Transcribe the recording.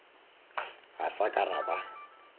ga sa ka ra ba